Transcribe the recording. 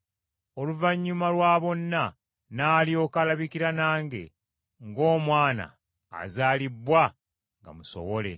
Oluvannyuma lwa bonna n’alyoka alabikira nange, ng’omwana azaalibbwa nga musowole.